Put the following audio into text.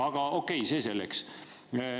Aga okei, see selleks.